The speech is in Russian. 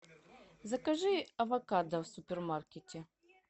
закажи авокадо в супермаркете